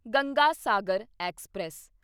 Ganga Sagar express